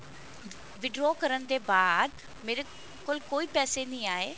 withdraw ਕਰਨ ਦੇ ਬਾਅਦ ਮੇਰੇ ਕੋਲ ਕੋਈ ਪੈਸੇ ਨਹੀਂ ਆਏ